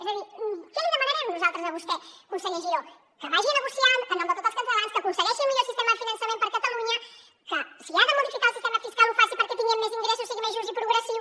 és a dir què li demanarem nosaltres a vostè conseller giró que vagi a negociar en nom de tots els catalans que aconsegueixi el millor sistema de finançament per a catalunya que si ha de modificar el sistema fiscal ho faci perquè tinguem més ingressos sigui més just i progressiu